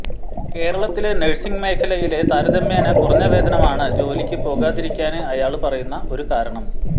കേരളത്തില് നഴ്സിംഗ് മേഖലയിലെ താരതമ്യേന കുറഞ്ഞ വേതനമാണ് ജോലിക്ക് പോകാതിരിക്കാന് അയാള് പറയുന്ന ഒരു കാരണം